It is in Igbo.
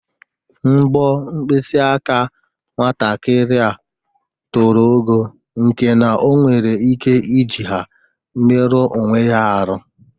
Mbọ mpkịsị aka nwatakịrị a toro ogo nke na o nwere ike iji ha meruo onwe ya arụ.